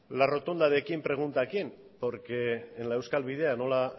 la rotonda de quién pregunta a quién porque en la euskal bidea nola